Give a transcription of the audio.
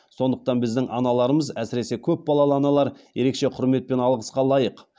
сондықтан біздің аналарымыз әсіресе көп балалы аналар ерекше құрмет пен алғысқа лайық